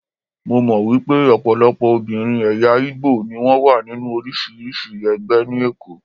Mo mọ̀ wípé ọ̀pọ̀lọpọ̀ obìnrin ẹ̀yà Ìgbò ni wón wà nínú oríṣiríṣi ẹgbẹ́ ní Èkó.